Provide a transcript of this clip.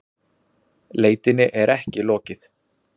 Leitinni er ekki lokið